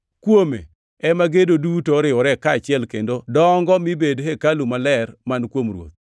Kuome ema gedo duto oriwore kaachiel kendo dongo mibed hekalu maler man kuom Ruoth.